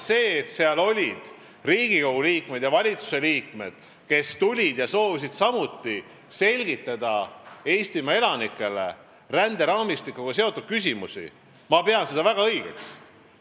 Seda, et seal olid Riigikogu liikmed ja valitsusliikmed, kes samuti soovisid Eestimaa elanikele ränderaamistikuga seotud küsimusi selgitada, ma pean väga õigeks.